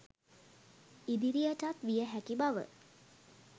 ඉදිරියටත් විය හැකි බව